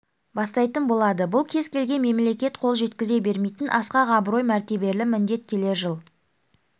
бастайтын болады бұл кез келген мемлекет қол жеткізе бермейтін асқақ абырой мәртебелі міндет келер жылы